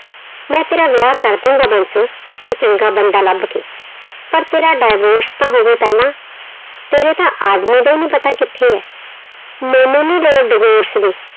ਮੈਂ ਤੇਰਾ ਵਿਆਹ ਕਰ ਦੇਵਾਂਗਾ ਬਾਂਸੋ, ਕੋਈ ਚੰਗਾ ਬੰਦਾ ਲੱਭ ਕੇ, ਪਰ ਤੇਰਾ divorce ਤਾਂ ਹੋਵੇ ਪਹਿਲਾਂ, ਤੇਰੇ ਤਾਂ ਆਦਮੀ ਦਾ ਹੀ ਨੀ ਪਤਾ ਕਿੱਥੇ ਹੈ, ਮੈਨੂੰ ਨੀ ਲੋੜ divorce ਦੀ।